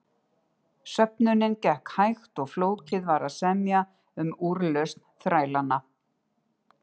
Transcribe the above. Söfnunin gekk hægt og flókið var að semja um útlausn þrælanna.